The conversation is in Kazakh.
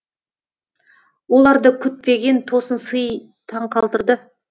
оларды күтпеген тосын сый таңқалдырды